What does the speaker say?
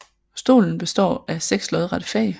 Stolen består af seks lodrette fag